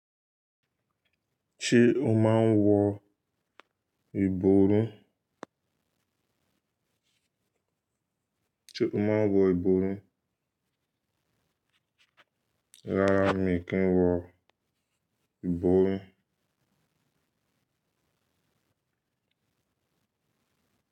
Ṣé o máa ń wọ ìbòrun? Ṣé o máa ń wọ ìbòrun? Rárá mi kì í wọ ìbòrun.